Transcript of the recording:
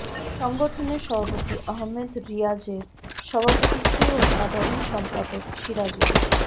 সংগঠনের সভাপতি আহমেদ রিয়াজের সভাপতিত্বে ও সাধারণ সম্পাদক সিরাজুল